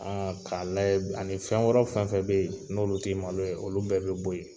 k'a layɛ b ani fɛn wɛrɛw fɛn fɛn be ye, n'olu te malo ye, olu bɛɛ be bo ye.